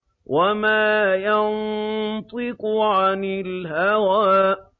وَمَا يَنطِقُ عَنِ الْهَوَىٰ